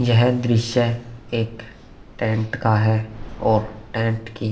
यह दृश्य एक टेंट का है और टैंट की।